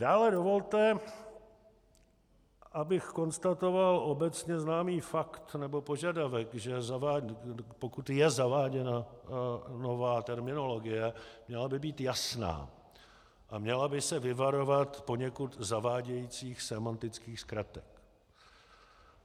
Dále dovolte, abych konstatoval obecně známý fakt nebo požadavek, že pokud je zaváděna nová terminologie, měla by být jasná a měla by se vyvarovat poněkud zavádějících sémantických zkratek.